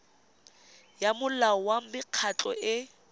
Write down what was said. ya molao wa mekgatlho e